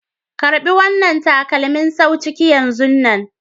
Karba wanna takalmin sawu ciki yan zunnan.